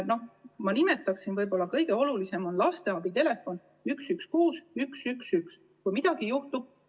Kõige olulisem on võib-olla lasteabitelefon 116111, kuhu helistada, kui midagi juhtub.